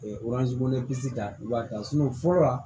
da i b'a ta fɔlɔ la